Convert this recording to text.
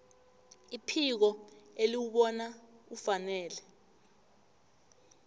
iphiko eliwubona ufanele